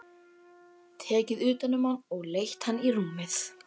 Tekið utan um hann og leitt hann í rúmið.